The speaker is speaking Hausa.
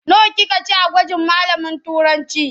Nawa kika ci a gwajin malamin Turancı?